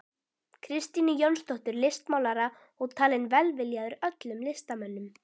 Kristínu Jónsdóttur listmálara og talinn velviljaður öllum listamönnum.